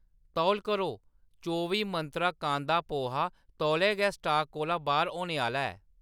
तौल करो, चौबी मंत्रा कांदा पोहा तौले गै स्टाक कोला बाह्‌‌र होने आह्‌‌‌ला ऐ।